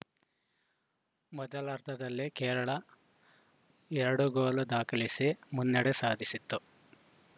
ಮೊದಲಾರ್ಧದಲ್ಲಿ ಕೇರಳ ಎರಡು ಗೋಲು ದಾಖಲಿಸಿ ಮುನ್ನಡೆ ಸಾಧಿಸಿತ್ತು